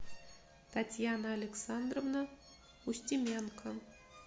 татьяна александровна устименко